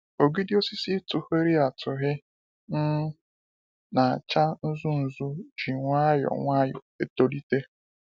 Ogidi osisi tughịrị atụghị um na acha nzu nzu ji nwayọọ nwayọọ etolite